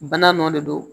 Bana nɔ de don